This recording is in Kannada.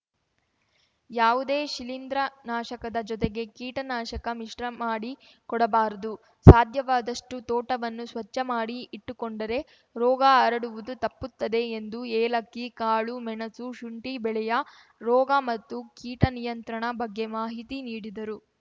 ಯಾವುದೇ ಶಿಲೀಂದ್ರನಾಶಕದ ಜೊತೆಗೆ ಕೀಟನಾಶಕ ಮಿಶ್ರಮಾಡಿ ಕೊಡಬಾರದು ಸಾಧ್ಯವಾದಷ್ಟುತೋಟವನ್ನು ಸ್ವಚ್ಚಮಾಡಿ ಇಟ್ಟುಕೊಂಡರೆ ರೋಗ ಹರಡುವುದು ತಪ್ಪುತ್ತದೆ ಎಂದು ಏಲಕ್ಕಿ ಕಾಳು ಮೆಣಸು ಶುಂಟಿ ಬೆಳೆಯ ರೋಗ ಮತ್ತು ಕೀಟ ನಿಯಂತ್ರಣ ಬಗ್ಗೆ ಮಾಹಿತಿ ನೀಡಿದರು